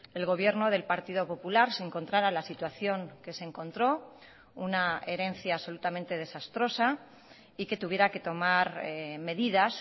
el gobierno del partido popular se encontrara la situación que se encontró una herencia absolutamente desastrosa y que tuviera que tomar medidas